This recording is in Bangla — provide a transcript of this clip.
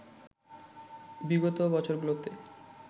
বিগত বছরগুলোতে